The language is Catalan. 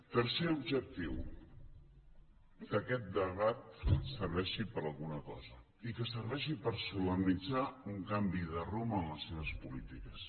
tercer objectiu que aquest debat serveixi per a alguna cosa i que serveixi per solemnitzar un canvi de rumb en les seves polítiques